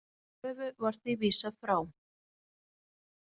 Þeirri kröfu var því vísað frá